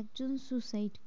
একজন suicide করেছে,